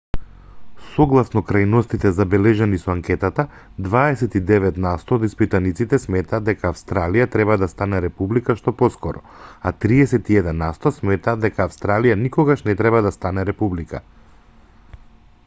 согласно крајностите забележани со анкетата 29 насто од испитаниците сметаат дека австралија треба да стане република што поскоро а 31 насто сметаат дека австралија никогаш не треба да стане република